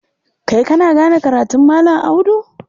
Kai kana gane karatun Malam Audu?